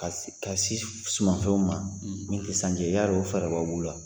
Ka se ka se sumanfɛnw ma min tɛ sanji yali o fɛrɛ b'aw bolo wa